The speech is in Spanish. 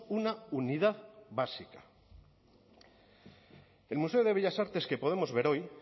una unidad básica el museo de bellas artes que podemos ver hoy